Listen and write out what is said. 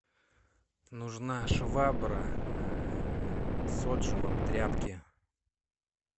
нужна швабра с отжимом тряпки